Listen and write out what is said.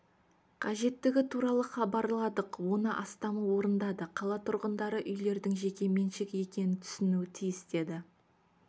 қажеттігі туралы хабарладық оны астамы орындады қала тұрғындары үйлердің жеке меншігі екенін түсінуі тиіс деді